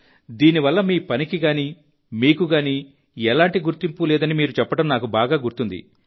దీనివల్ల మీ పనికిగానీ మీకు గానీ ఎలాంటి గుర్తింపూ లేదని మీరు చెప్పడం నాకు బాగా గుర్తుంది